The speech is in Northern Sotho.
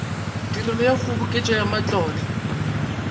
tirelo ya kgoboketšo ya matlotlo